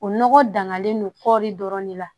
O nɔgɔ dangalen don kɔɔri dɔrɔn de la